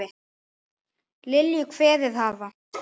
Lilju kveðið hafa.